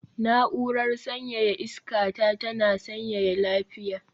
Na'urar sanyaya iska ta tana sanyaya lafiya